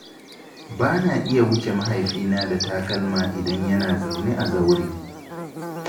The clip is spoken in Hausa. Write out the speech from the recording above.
Ba na iya wuce mahaifina da takalma idan yana zaune a zaure.